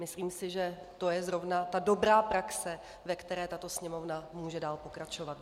Myslím si, že to je zrovna ta dobrá praxe, ve které tato Sněmovna může dál pokračovat.